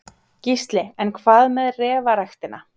Gísli: En hvað með refaræktina?